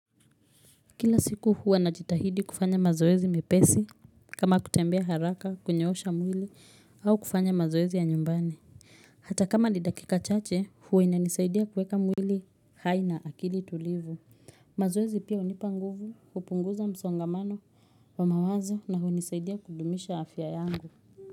Kila siku huwa najitahidi kufanya mazoezi mepesi, kama kutembea haraka, kunyoosha mwili, au kufanya mazoezi ya nyumbani. Hata kama ni dakika chache, huwa ina nisaidia kuweka mwili haina akili tulivu. Mazoezi pia hunipa nguvu, hupunguza msongamano wa mawazo na hunisaidia kudumisha afya yangu.